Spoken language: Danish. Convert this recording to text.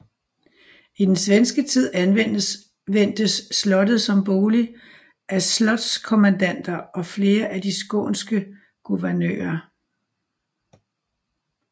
I den svenske tid anvendtes slottet som bolig af slotskommendanter og flere af de skånske guvernører